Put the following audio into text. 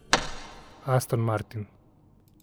Aston martin.